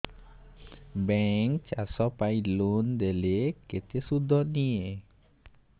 bank ଚାଷ ପାଇଁ loan ଦେଲେ କେତେ ସୁଧ ନିଏ